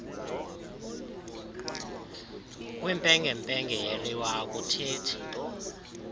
kwimpengempenge yeliwa akuthethi